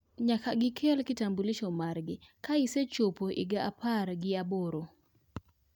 Nyaka gikel kitambulisho margi ka isechopo higa apar gi aboro